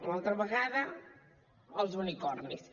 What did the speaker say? una altra vegada els unicorns